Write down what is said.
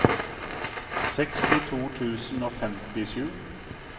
sekstito tusen og femtisju